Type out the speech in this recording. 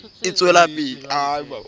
ho na le phapang ya